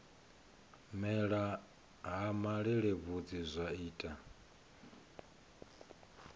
mela ha malelebvudzi zwa ita